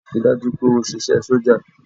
Rí i dájú o pé o ṣe iṣẹ́ sójà!